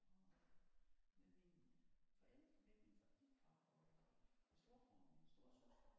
Og øh med mine forældre begge mine forældre og min storebror og min storesøster